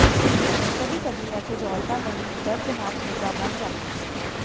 ਕਦੀ ਕਦੀ ਇਹ ਕੁਝ ਔਰਤਾਂ ਲਈ ਇੱਕ ਦਰਦਨਾਕ ਮੁੱਦਾ ਬਣ ਜਾਂਦੀ ਹੈ